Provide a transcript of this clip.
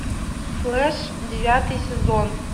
флэш девятый сезон